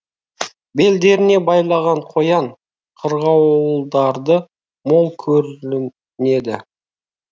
белдеріне байлаған қоян қырғауылдарды мол көрінеді